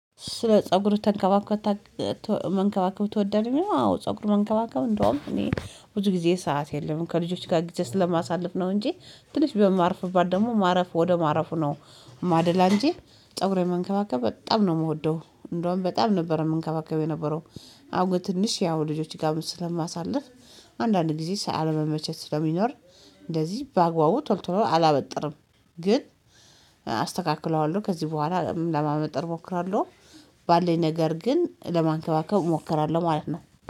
ስለ ፀጉርህ ተንከባክበህ ታ መንከባከብ ትወዳለህ? አዎ ፀጉር መንከባከብ እንደውም እኔ ብዙ ጊዜ ሰዓት የለኝም ከልጆች ጋር ጊዜ ስለማሳልፍ ነው። እንጂ ትንሽ በማርፍባት ደግሞ ማረፍ ወደ ማረፉ ነው የማደላ እንጂ ፀጉሬን መንከባከብ በጣም ነው የምወደው። እንደውም በጣም ነበር የምንከባከብ የነበረው። አሁን ግን ትንሽ ያው ልጆች ጋርም ስለማሳልፍ። አንዳንድ ጊዜ ሳ አለመመቸት ስለሚኖር። እንደዚህ በአግባቡ ቶሎ ቶሎ አላበጥርም። ግን አስተካክለዋለሁ ከዚህ በኋላ ለማበጠር እሞክራለሁ። ባለኝ ነገር ግን ለማንከባከብ እሞክራለሁ ማለት ነው